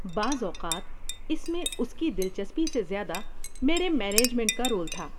بعض اوقات اس میں اس کی دلچسپی سے زیادہ میرے مینجمنٹ کا رول تھا۔